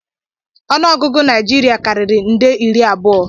Ọnụọgụ Naịjirịa karịrị nde iri abụọ